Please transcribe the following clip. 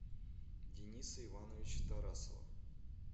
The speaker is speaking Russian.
дениса ивановича тарасова